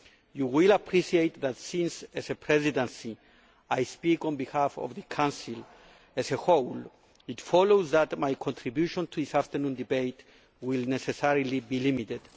You will appreciate that, since as a Presidency I speak on behalf of the Council as a whole, it follows that my contribution to this afternoon's debate will necessarily be limited.